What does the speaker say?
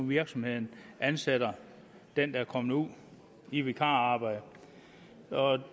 virksomheden ansætter den der er kommet ud i vikararbejde